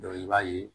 i b'a ye